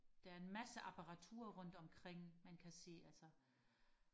der er en masse apparatur rundt omkring man kan se altså